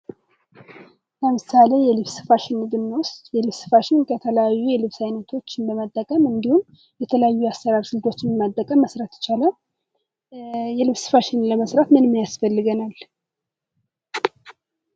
ለምሳሌ የልብስ ፋሽን ብኖስድ የልብስ ፋሽን የተለያዩ የልብስ አይነቶችን በመጠቀም እንዲሁም የተለያዩ የአሰራር ስልቶችን በመጠቀም መስራት ይቻላል። የልብስ ፋሽንን ለመስራት ምንምን ያስፈልገናል?